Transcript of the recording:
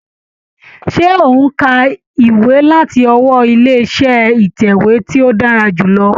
Ṣé ò ń ka ìwé láti ọwọ́ ilé iṣẹ́ ìtẹ̀wé tí ó dára jù lọ.